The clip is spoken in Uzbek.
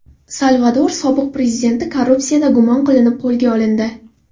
Salvador sobiq prezidenti korrupsiyada gumon qilinib, qo‘lga olindi.